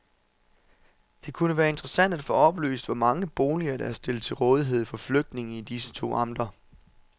Det kunne være interessant at få oplyst, hvor mange boliger der er stillet til rådighed for flygtninge i disse to amter.